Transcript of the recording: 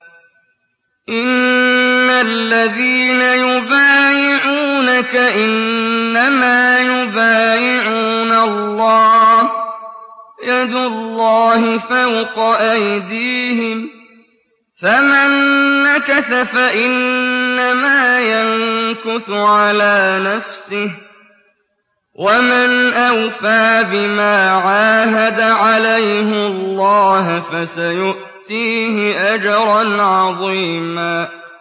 إِنَّ الَّذِينَ يُبَايِعُونَكَ إِنَّمَا يُبَايِعُونَ اللَّهَ يَدُ اللَّهِ فَوْقَ أَيْدِيهِمْ ۚ فَمَن نَّكَثَ فَإِنَّمَا يَنكُثُ عَلَىٰ نَفْسِهِ ۖ وَمَنْ أَوْفَىٰ بِمَا عَاهَدَ عَلَيْهُ اللَّهَ فَسَيُؤْتِيهِ أَجْرًا عَظِيمًا